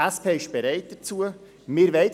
Die SP ist dazu bereit.